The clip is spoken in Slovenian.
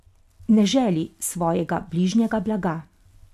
Ne želi svojega bližnjega blaga!